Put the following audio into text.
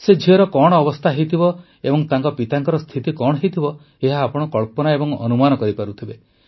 ସେ ଝିଅର କଣ ଅବସ୍ଥା ହୋଇଥିବ ଏବଂ ତାଙ୍କ ପିତାଙ୍କ ସ୍ଥିତି କଣ ହୋଇଥିବ ଏହା ଆପଣ କଳ୍ପନା ଏବଂ ଅନୁମାନ କରିପାରୁଥିବେ